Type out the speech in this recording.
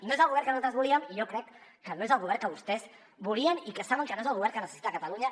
no és el govern que nosaltres volíem i jo crec que no és el govern que vostès volien i saben que no és el govern que necessita catalunya